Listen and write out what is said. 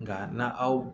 Nka na aw